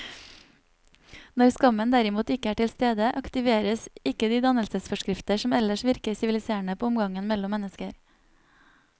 Når skammen derimot ikke er til stede, aktiveres ikke de dannelsesforskrifter som ellers virker siviliserende på omgangen mellom mennesker.